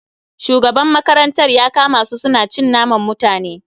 Shugaban makarantar ya kama su suna cin naman mutane